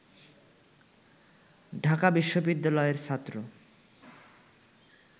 ঢাকা বিশ্ববিদ্যালয়ের ছাত্র